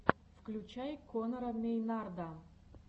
включай конора мейнарда